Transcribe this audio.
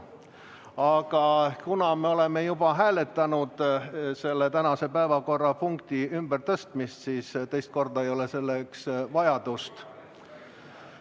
Aga kuna me oleme juba hääletanud selle tänase päevakorrapunkti ümbertõstmist, siis teist korda ei ole selle järele vajadust.